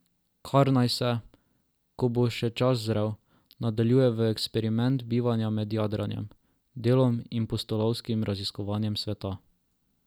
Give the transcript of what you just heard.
Kar naj se, ko bo čas zrel, nadaljuje v eksperiment bivanja med jadranjem, delom in pustolovskim raziskovanjem sveta.